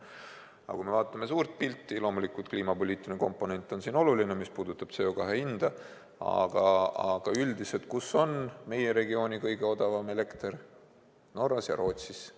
Aga kui me vaatame suurt pilti – loomulikult, kliimapoliitiline komponent on siin oluline, mis puudutab CO2 hinda –, kus on meie regiooni kõige odavam elekter: Norras ja Rootsis.